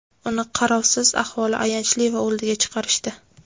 "Uni qarovsiz, ahvoli ayanchli va o‘ldiga chiqarishdi".